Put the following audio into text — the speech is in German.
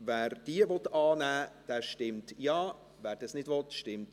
Wer diese annehmen will, stimmt Ja, wer sie ablehnt, stimmt Nein.